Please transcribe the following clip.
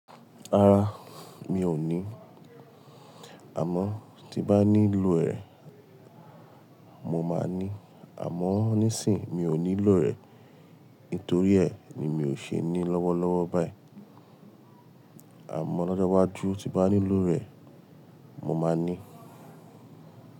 Rárá, mi ò ní. Àmọ́ tí bá nílò rẹ̀, mo máa ní. Àmọ́ nísìí, mi ò nílò rẹ̀. Nítorí ẹ̀ ni mi ò ṣe ní lọ́wọ́lọ́wọ́ báyìí. Àmọ́ lọ́jọ́ iwájú tí bá nílò rẹ̀, mo máa ní.